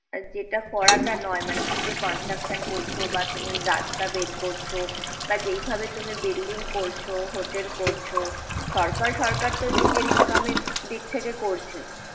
যেটা করাটা নয়, মানে তুমি যে construction করছ বা তুমি রাস্তা বের করছ বা যেভাবে তুমি building করছ, hotel করছ সরকার সরকারতো নিজের income এর দিক থেকে করছে।